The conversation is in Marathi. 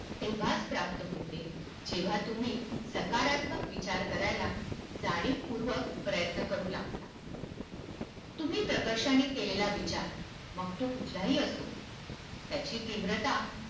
तेव्हाच प्राप्त होते जेव्हा तुम्ही नेहमी सकारात्मक विचार करायला जाणीवपूर्वक प्रयत्न करू लागता. तुम्ही प्रकर्षाने केलेला विचार मग तो कुठलाही असो, त्याची तीव्रता